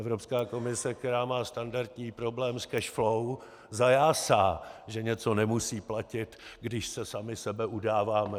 Evropská komise, která má standardní problém s cash flow, zajásá, že něco nemusí platit, když se sami sebe udáváme.